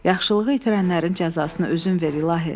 Yaxşılığı itirənlərin cəzasını özün ver ilahi.